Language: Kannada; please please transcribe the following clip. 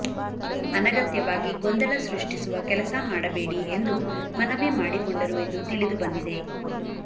ಅನಗತ್ಯವಾಗಿ ಗೊಂದಲ ಸೃಷ್ಟಿಸುವ ಕೆಲಸ ಮಾಡಬೇಡಿ ಎಂದು ಮನವಿ ಮಾಡಿಕೊಂಡರು ಎಂದು ತಿಳಿದುಬಂದಿದೆ